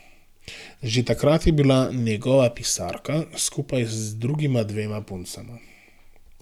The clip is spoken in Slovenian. Že takrat je bila njegova pisarka, skupaj z drugima dvema puncama.